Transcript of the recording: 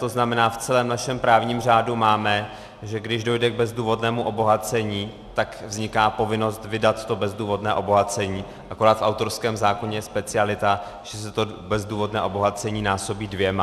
To znamená, v celém našem právním řádu máme, že když dojde k bezdůvodnému obohacení, tak vzniká povinnost vydat to bezdůvodné obohacení, akorát v autorském zákoně je specialita, že se to bezdůvodné obohacení násobí dvěma.